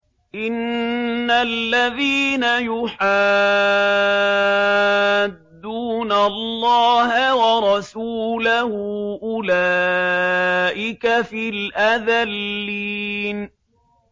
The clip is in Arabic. إِنَّ الَّذِينَ يُحَادُّونَ اللَّهَ وَرَسُولَهُ أُولَٰئِكَ فِي الْأَذَلِّينَ